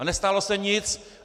A nestalo se nic.